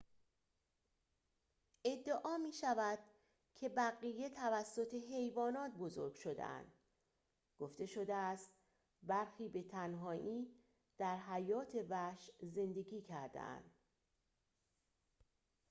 ادعا می‌شود که بقیه توسط حیوانات بزرگ شده‌اند گفته شده است برخی به تنهایی در حیات وحش زندگی کرده‌اند